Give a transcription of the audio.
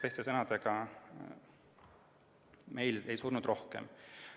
Teiste sõnadega, meil ei surnud inimesi rohkem.